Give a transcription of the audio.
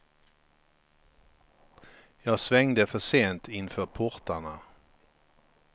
Jag svängde för sent inför portarna.